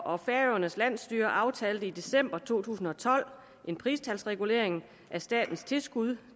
og færøernes landsstyre aftalte i december to tusind og tolv en pristalsregulering af statens tilskud